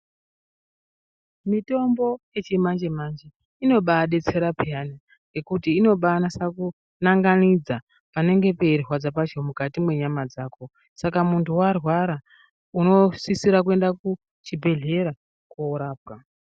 Mitombo yechimanje manje inobaadetsera peyani ngekuti inobaanase kunanganidza panenge peirwadza pacho mukati mwenyama dzako. Saka kana muntu warwara unosisira kuende kuchibhedhlera koorapwa.